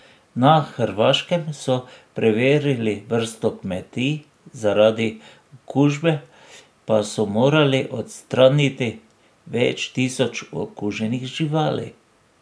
Na Hrvaškem so preverili vrsto kmetij, zaradi okužbe pa so morali odstraniti več tisoč okuženih živali.